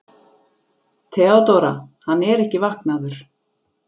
THEODÓRA: Hann er ekki vaknaður.